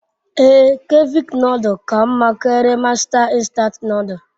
Ee, Cevich nodul ka nma karia Masta nstant nodul